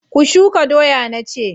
Ku shuka doya na ce!